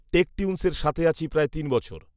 টেকটিউনসের সাথে আছি প্রায় তিন বছর